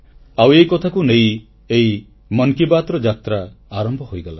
ଆଉ ଏହି କଥାକୁ ନେଇ ଏହି ମନ କି ବାତ୍ର ଯାତ୍ରା ଆରମ୍ଭ ହୋଇଗଲା